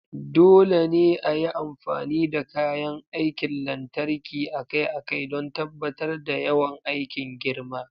Dole ne a yi amfani da kayan aikin lantarki akai-akai don tabbatar da yawan aikin girma.